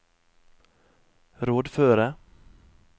rådføre